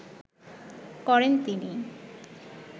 করেন তিনি